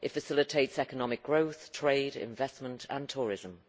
It facilitates economic growth, trade, investment and tourism.